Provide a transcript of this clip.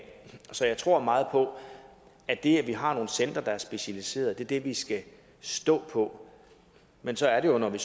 så jeg tror meget på at det at vi har nogle centre der er specialiserede er det vi skal stå på men så er det jo når vi